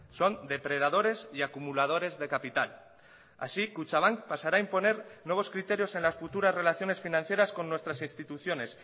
son depredadores y acumuladores de capital así kutxabank pasará a imponer nuevos criterios en las futuras relaciones financieras con nuestras instituciones